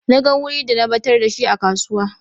Na gan wuri da na batar da shi a kasuwa.